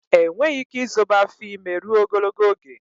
Enweghị ike izobe afọ ime rụo ogologo oge